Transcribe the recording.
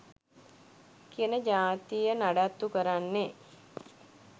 කියන ජාතිය නඩත්තු කරන්නෙ